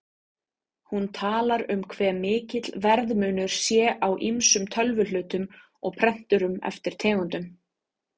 Hún talar um hve mikill verðmunur sé á ýmsum tölvuhlutum og prenturum eftir tegundum.